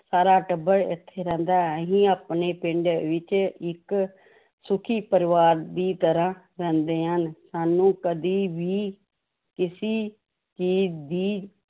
ਸਾਰਾ ਟੱਬਰ ਇੱਥੇ ਰਹਿੰਦਾ ਹੈ ਅਸੀਂ ਆਪਣੇ ਪਿੰਡ ਵਿੱਚ ਇੱਕ ਸੁੱਖੀ ਪਰਿਵਾਰ ਦੀ ਤਰ੍ਹਾਂ ਰਹਿੰਦੇ ਹਾਂ ਸਾਨੂੰ ਕਦੇ ਵੀ ਕਿਸੇ ਚੀਜ਼ ਦੀ